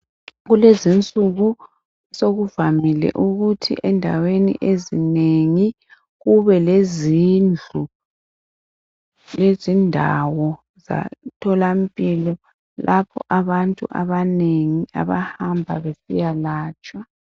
Kulezinsuku sokuvamile ukuthi endaweni ezinengi kube lezindlu lezindawo zomtholampilo lapho abantu abanengi abahamba besiya latshwa.